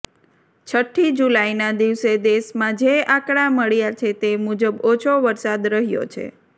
છઠ્ઠી જુલાઈના દિવસે દેશમાં જે આંકડા મળ્યા છે તે મુજબ ઓછો વરસાદ રહ્યો છે